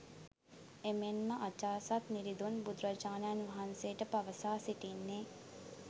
එමෙන්ම අජාසත් නිරිඳුන් බුදුරජාණන් වහන්සේට පවසා සිටින්නේ